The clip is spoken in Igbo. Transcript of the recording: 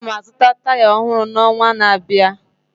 Aga m azụta taya ọhụrụ n'ọnwa na-abịa.